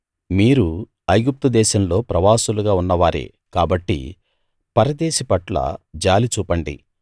మీరు ఐగుప్తు దేశంలో ప్రవాసులుగా ఉన్నవారే కాబట్టి పరదేశి పట్ల జాలి చూపండి